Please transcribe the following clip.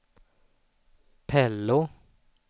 Pello